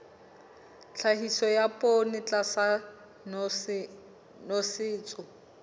tlhahiso ya poone tlasa nosetso